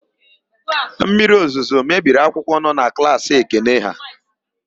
Mmiriozuzo mebiri akwụkwọ nọ na klaasị Ekene ha.